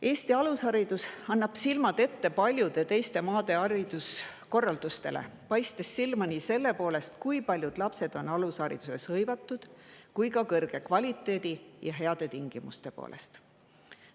Eesti alusharidus annab silmad ette paljude teiste maade hariduskorraldusele, paistes silma nii selle poolest, kui palju lapsi on meil alushariduses hõivatud, kui ka kõrge kvaliteedi ja heade tingimuste poolest.